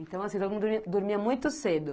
Então, assim, todo mundo dormia dormia muito cedo?